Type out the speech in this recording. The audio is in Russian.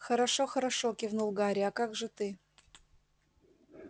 хорошо-хорошо кивнул гарри а как же ты